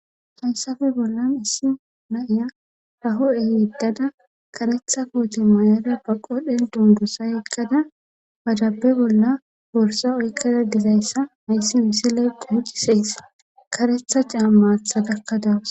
Hayssafe bollan issi na7iya haho7e yeddada karetha kooti mayada baqodhen dundusa eqqada badabe bolla borsa oykkada dizayssa nayssi misiley quucciseys karetha caam maatha gakkadawus